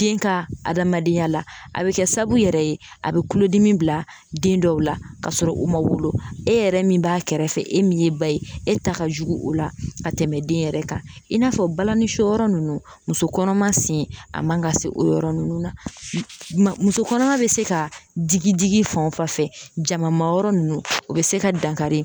den ka adamadenya la a be kɛ sababu yɛrɛ ye a be kulodimi bila den dɔw la ka sɔrɔ o ma wolo e yɛrɛ min b'a kɛrɛfɛ e min ye ba ye e ta ka jugu o la ka tɛmɛ den yɛrɛ kan i n'a fɔ balani soyɔrɔ nunnu muso kɔnɔma sen a man ka se o yɔrɔ nunnu na ma musokɔnɔma be se ka digi digi fan o fan fɛ jama ma yɔrɔ nunnu o be se ka dankari